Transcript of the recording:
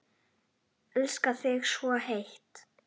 Elska þig svo heitt.